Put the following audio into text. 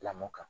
Lamɔ kan